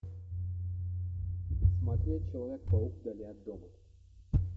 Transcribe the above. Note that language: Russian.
смотреть человек паук вдали от дома